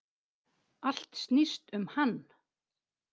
Allt snýst um hann.